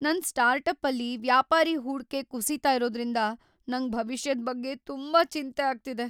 ನನ್ ಸ್ಟಾರ್ಟಪ್ಪಲ್ಲಿ ವ್ಯಾಪಾರೀ ಹೂಡ್ಕೆ ಕುಸೀತಾ ಇರೋದ್ರಿಂದ ನಂಗ್ ಭವಿಷ್ಯದ್ ಬಗ್ಗೆ ತುಂಬಾ ಚಿಂತೆ ಆಗ್ತಿದೆ.